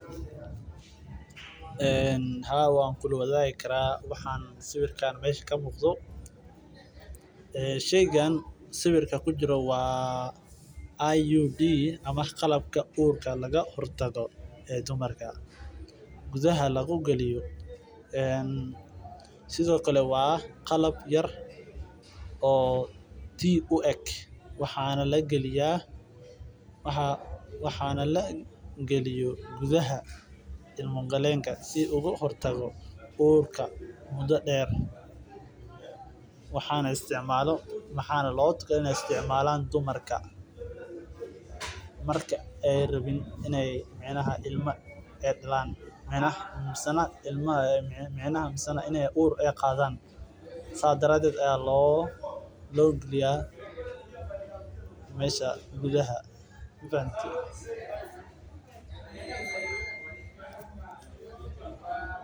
Haa waan kula wadaagi karaa sawiirkaan meesha ka muqda waa qabta dumarka uurka looga hor tago waa qalab yar waxaana lagaliya gudaha ilma gakeenka waaxana loogu tala galay inaay isticmaala dumarka marki aay rabin inaay uur qaadan.